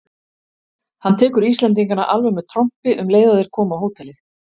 Hann tekur Íslendingana alveg með trompi um leið og þeir koma á hótelið!